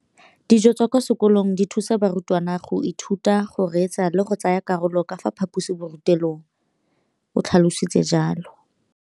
Dijo tsa kwa sekolong dithusa barutwana go ithuta, go reetsa le go tsaya karolo ka fa phaposiborutelong, o tlhalositse jalo.